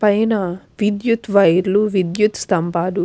వైర్లు విద్యుత్ వైర్లు విద్యుత్ స్తంబాలు --